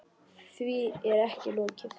Því er ekki lokið.